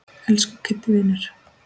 Elsku Kiddi vinur.